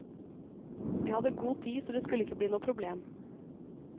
Vi hadde god tid, så det skulle ikke bli noe problem.